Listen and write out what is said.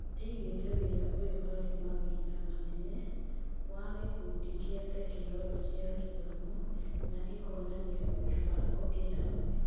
ĩigĩte wĩra ũyũ harĩ mawĩra manene wa gĩkundi kia Tekinoronjĩ ya Gĩthomo na ĩkonania mĩbango ĩhamwe.